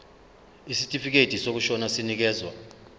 isitifikedi sokushona sinikezwa